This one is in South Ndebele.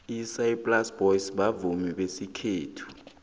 isaplasi boys bavumi besikhethu